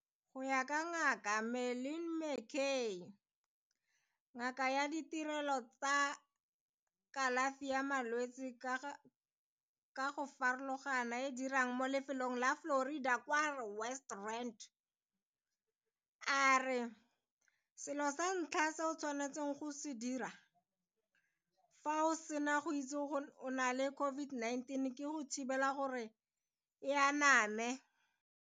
Go ya ka Ngaka Marlin McCay, ngaka ya ditirelo tsa kalafi ya malwetse ka go farologana e e dirang mo lefelong la Florida kwa West Rand, a re selo sa ntlha se o tshwanetseng go se dira fa o sena go itse gore o na le COVID-19 ke go thibela gore e aname.